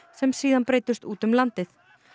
sem síðan breiddust út um landið